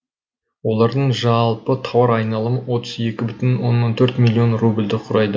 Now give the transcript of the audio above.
олардың жалпы тауар айналымы отыз екі бүтін оннан төрт миллион рубльді құрайды